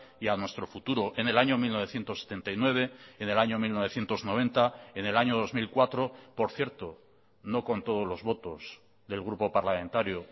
y a nuestro futuro en el año mil novecientos setenta y nueve en el año mil novecientos noventa en el año dos mil cuatro por cierto no con todos los votos del grupo parlamentario